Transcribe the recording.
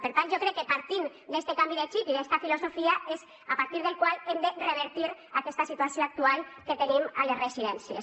per tant jo crec que partint d’est canvi de xip i de la filosofia és a partir del qual hem de revertir aquesta situació actual que tenim a les residències